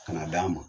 Ka na d'an ma